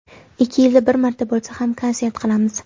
Ikki yilda bir marta bo‘lsa ham konsert qilamiz.